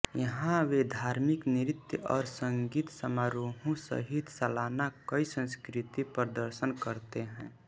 यहाँ वे धार्मिक नृत्य और संगीत समारोहों सहित सालाना कई सांस्कृतिक प्रदर्शन करते हैं